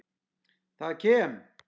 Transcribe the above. Það kem